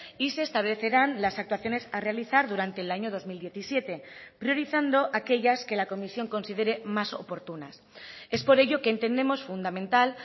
y se establecerán las actuaciones a realizar durante el año dos mil diecisiete priorizando aquellas que la comisión considere más oportunas es por ello que entendemos fundamental